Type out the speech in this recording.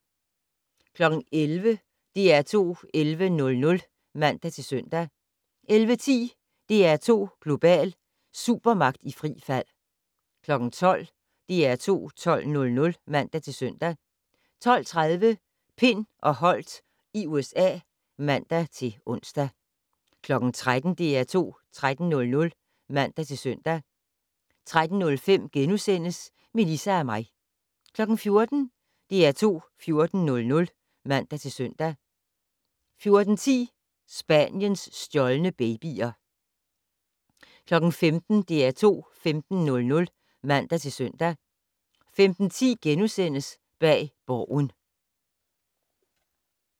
11:00: DR2 11:00 (man-søn) 11:10: DR2 Global: Supermagt i frit fald 12:00: DR2 12:00 (man-søn) 12:30: Pind og Holdt i USA (man-ons) 13:00: DR2 13:00 (man-søn) 13:05: Melissa og mig * 14:00: DR2 14:00 (man-søn) 14:10: Spaniens stjålne babyer 15:00: DR2 15:00 (man-søn) 15:10: Bag Borgen *